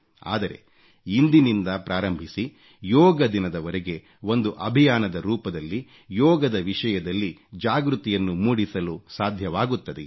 ಆದರೆ ಇಂದಿನಿಂದ ಪ್ರಾರಂಭಿಸಿ ಯೋಗ ದಿನದವರೆಗೆ ಒಂದು ಅಭಿಯಾನದ ರೂಪದಲ್ಲಿ ಯೋಗದ ವಿಷಯದಲ್ಲಿ ಜಾಗೃತಿಯನ್ನು ಮೂಡಿಸಲು ಸಾಧ್ಯವಾಗುತ್ತದೆಯೇ